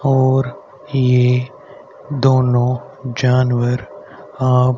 और ये दोनो जानवर आप--